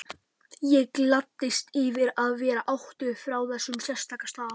Ég gladdist yfir að vera ættuð frá þessum sérstaka stað.